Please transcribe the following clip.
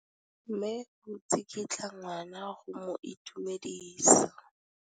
Mme o tsikitla ngwana go mo itumedisa.